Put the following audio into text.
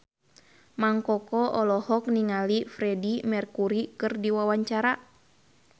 Mang Koko olohok ningali Freedie Mercury keur diwawancara